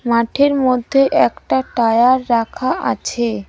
মাঠের মধ্যে একটা টায়ার রাখা আছে।